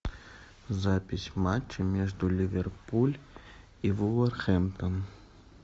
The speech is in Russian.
запись матча между ливерпуль и вулверхэмптон